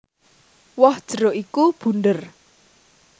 Woh jeruk iku bunder